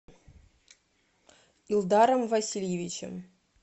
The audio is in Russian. илдаром васильевичем